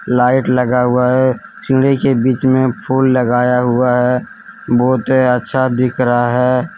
Light लगा हुआ है। सीढ़ी के बीच में फूल लगाया हुआ है। बहुते अच्छा दिख रहा है।